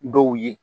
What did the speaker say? Dɔw ye